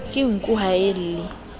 ke nku ha a lle